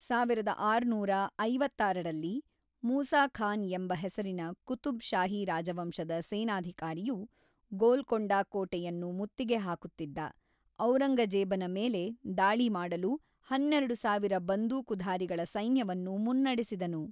ಸಾವಿರದ ಆರುನೂರ ಐವತ್ತಾರರಲ್ಲಿ, ಮೂಸಾ ಖಾನ್ ಎಂಬ ಹೆಸರಿನ ಕುತುಬ್ ಶಾಹಿ ರಾಜವಂಶದ ಸೇನಾಧಿಕಾರಿಯು, ಗೋಲ್ಕೊಂಡ ಕೋಟೆಯನ್ನು ಮುತ್ತಿಗೆ ಹಾಕುತ್ತಿದ್ದ ಔರಂಗಜೇಬನ ಮೇಲೆ ದಾಳಿ ಮಾಡಲು ಹನ್ನೆರಡು ಸಾವಿರ ಬಂದೂಕುಧಾರಿಗಳ ಸೈನ್ಯವನ್ನು ಮುನ್ನಡೆಸಿದನು.